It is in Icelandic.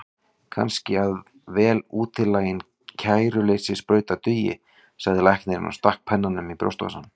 Kannski að vel útilátin kæruleysissprauta dugi, sagði læknirinn og stakk pennanum í brjóstvasann.